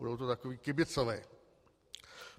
Budou to takoví kibicové.